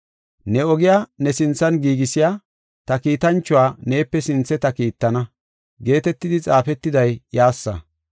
“ ‘Ne ogiya ne sinthan giigisiya ta kiitanchuwa neepe sinthe ta kiittana’ geetetidi xaafetiday iyassa.